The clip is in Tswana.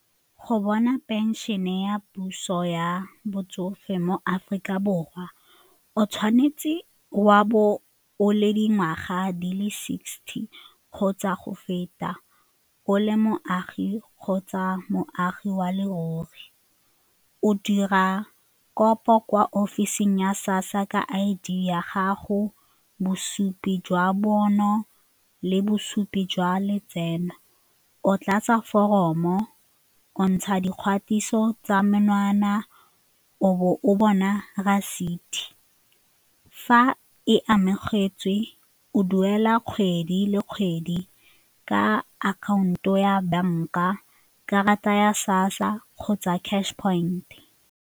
Go bona pension-e ya puso ya botsofe mo Aforika Borwa o tshwanetse wa bo o le dingwaga di le sixty kgotsa go feta o le moagi kgotsa moagi wa leruri, o dira kopo kwa ofising ya SASSA ka I_D ya gago, bosupi jwa bonno le bosupi jwa letseno, o tlatse foromo o ntsha dikgatiso tsa menwana o bo o bona reseti fa e amogetswe o duela kgwedi le kgwedi ka akhaonto ya banka, karata ya SASSA kgotsa cash point.